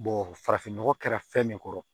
farafin nɔgɔ kɛra fɛn min kɔrɔ